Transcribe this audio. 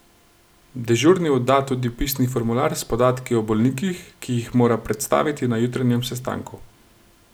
Dežurni odda tudi pisni formular s podatki o bolnikih, ki jih mora predstaviti na jutranjem sestanku.